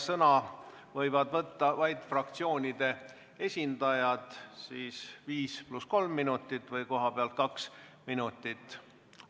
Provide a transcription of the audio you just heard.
Sõna võivad võtta vaid fraktsioonide esindajad, kellel on aega viis pluss kolm minutit või kohapealt rääkides kaks minutit.